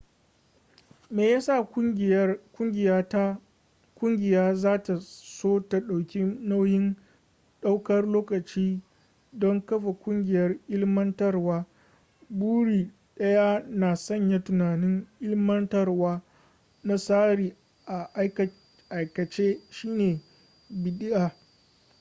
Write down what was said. me yasa kungiya zata so ta dauki nauyin daukar lokaci don kafa kungiyar ilmantarwa buri daya na sanya tunanin ilmantarwa na tsari a aikace shine bidi'a